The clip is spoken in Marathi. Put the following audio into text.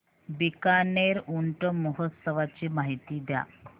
बीकानेर ऊंट महोत्सवाची माहिती द्या